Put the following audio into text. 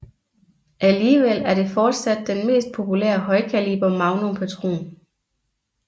Alligevel er det fortsat den mest populære højkaliber magnum patron